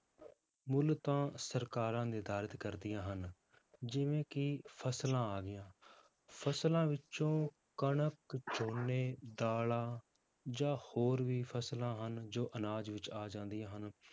ਮੁੱਲ ਤਾਂ ਸਰਕਾਰਾਂ ਨਿਰਧਾਰਿਤ ਕਰਦੀਆਂ ਹਨ ਜਿਵੇਂ ਕਿ ਫਸਲਾਂ ਆ ਗਈਆਂ, ਫਸਲਾਂ ਵਿੱਚੋਂ ਕਣਕ ਝੋਨੇ, ਦਾਲਾਂ ਜਾਂ ਹੋਰ ਵੀ ਫਸਲਾਂ ਹਨ ਜੋ ਅਨਾਜ ਵਿੱਚ ਆ ਜਾਂਦੀਆਂ ਹਨ,